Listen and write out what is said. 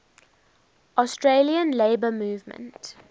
australian labour movement